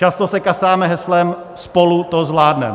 Často se kasáme heslem: Spolu to zvládneme.